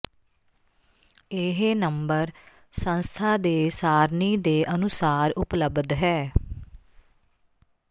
ਇਹ ਨੰਬਰ ਸੰਸਥਾ ਦੇ ਸਾਰਣੀ ਦੇ ਅਨੁਸਾਰ ਉਪਲੱਬਧ ਹੈ